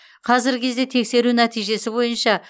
қазіргі кезде тексеру нәтижесі бойынша